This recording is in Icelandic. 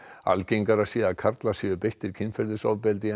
algengara sé að karlar séu beittir kynferðisofbeldi en